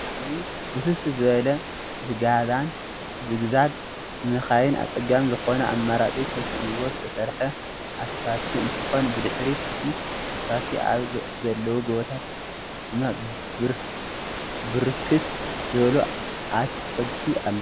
እዚ ብጣዕሚ ውስብስብ ዝበለ ዝግዛግ ንመካይን አፀጋሚ ዝኮነ አማራፂ ተሳኢኑዎ ዝተሰርሓ አስፋልት እንትኮን ብድሕሪት እተ አስፋልት አብ ዘለዉ ጎቦታት ድማ ብርክት ዝበሉ አትክልቲ አለዉ፡፡